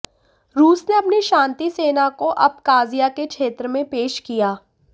रूस ने अपनी शांति सेना को अबकाज़िया के क्षेत्र में पेश किया